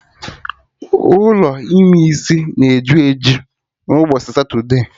Ụlọ ime isi na eju eju n'ụbọchị satude